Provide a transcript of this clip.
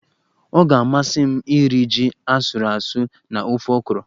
Ọ ga-amasị m iri ji asụrụ asụ na ofe okro